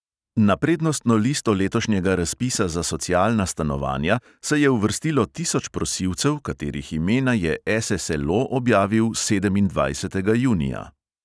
Na prednostno listo letošnjega razpisa za socialna stanovanja se je uvrstilo tisoč prosilcev, katerih imena je SSLO objavil sedemindvajsetega junija.